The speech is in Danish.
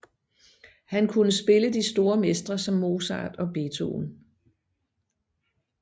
Han kunne spille de store mestre som Mozart og Beethoven